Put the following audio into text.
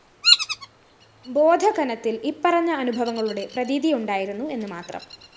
ബോധഘനത്തില്‍ ഇപ്പറഞ്ഞ അനുഭവങ്ങളുടെ പ്രതീതിയുണ്ടായിരുന്നു എന്ന് മാത്രം